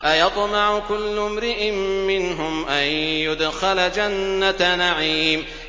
أَيَطْمَعُ كُلُّ امْرِئٍ مِّنْهُمْ أَن يُدْخَلَ جَنَّةَ نَعِيمٍ